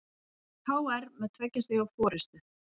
KR með tveggja stiga forystu